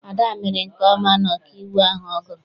Ada mere nke ọma na ọkaiwu ahụ ọ gụrụ.